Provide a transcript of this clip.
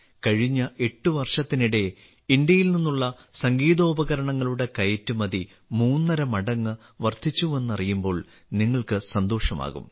കഴിഞ്ഞ 8 വർഷത്തിനിടെ ഇന്ത്യയിൽ നിന്നുള്ള സംഗീതോപകരണങ്ങളുടെ കയറ്റുമതി മൂന്നര മടങ്ങ് വർധിച്ചുവെന്നറിയുമ്പോൾ നിങ്ങൾക്ക് സന്തോഷമാകും